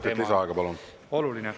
Kolm minutit lisaaega, palun!